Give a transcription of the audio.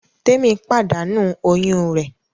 Témì pàdánù oyún rẹ̀